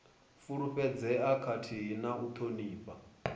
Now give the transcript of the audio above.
fulufhedzee khathihi na u thonifha